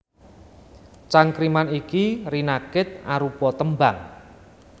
Cangkriman iki rinakit arupa tembang